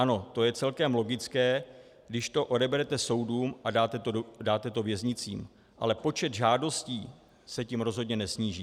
Ano, to je celkem logické, když to odeberete soudům a dáte to věznicím, ale počet žádostí se tím rozhodně nesníží.